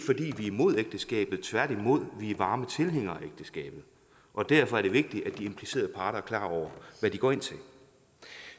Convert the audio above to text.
imod ægteskabet tværtimod vi er varme tilhængere af ægteskabet og derfor er det vigtigt at de implicerede parter er klar over hvad de går ind til